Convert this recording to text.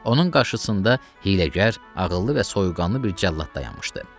Onun qarşısında hiyləgər, ağıllı və soyuqqanlı bir cəllad dayanmışdı.